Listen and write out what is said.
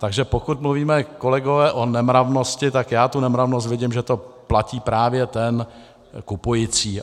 Takže pokud mluvíme, kolegové, o nemravnosti, tak já tu nemravnost vidím, že to platí právě ten kupující.